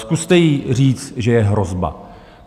Zkuste jí říct, že je hrozba.